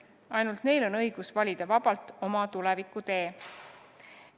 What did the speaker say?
Ainult neil on õigus valida vabalt oma tuleviku tee.